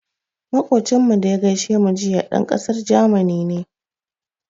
Moƙocinmu da ya gaishe mu jiya, ɗan ƙasar Jamani ne.